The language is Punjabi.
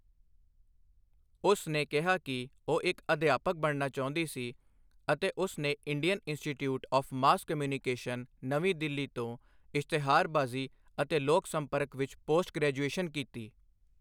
ਉਸ ਨੇ ਕਿਹਾ ਕਿ ਉਹ ਇੱਕ ਅਧਿਆਪਕ ਬਣਨਾ ਚਾਹੁੰਦੀ ਸੀ ਅਤੇ ਉਸ ਨੇ Indian Institute of Mass Communication, ਨਵੀਂ ਦਿੱਲੀ ਤੋਂ ਇਸ਼ਤਿਹਾਰਬਾਜ਼ੀ ਅਤੇ ਲੋਕ ਸੰਪਰਕ ਵਿੱਚ ਪੋਸਟ ਗ੍ਰੈਜੂਏਸ਼ਨ ਕੀਤੀ।